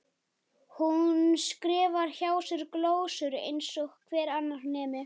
Hún skrifar hjá sér glósur eins og hver annar nemi.